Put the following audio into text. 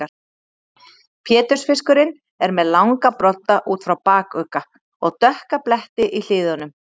Pétursfiskurinn er með langa brodda út frá bakugga og dökka bletti í hliðunum.